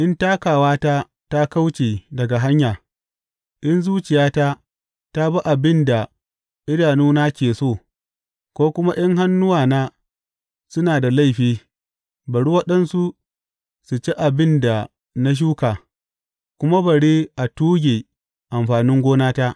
In takawata ta kauce daga hanya, in zuciyata ta bi abin da idanuna ke so, ko kuma in hannuwana suna da laifi; bari waɗansu su ci abin da na shuka, kuma bari a tuge amfanin gonata.